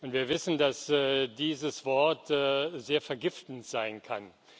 Wir wissen, dass dieses Wort sehr vergiftend sein kann.